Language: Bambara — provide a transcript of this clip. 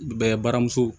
Bɛɛ baramuso